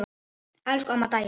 Elsku amma Dæja.